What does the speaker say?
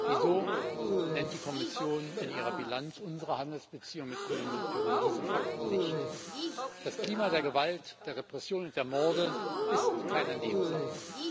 Wieso nennt die Kommission in ihrer Bilanz unserer Handelsbeziehungen mit Kolumbien und Peru diese Fakten nicht? Das Klima der Gewalt, der Repression und der Morde ist keine Nebensache.